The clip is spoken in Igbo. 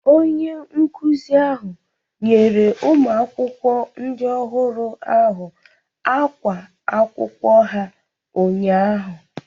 Onye nkuzi ahụ nyere ụmụakwụkwọ ndị ọhụrụ ahụ ákwá akwụkwọ ha ụnyaahụ.